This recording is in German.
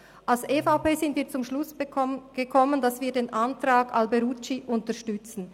Die EVP ist zum Schluss gekommen, dass sie den Antrag Alberucci unterstützt.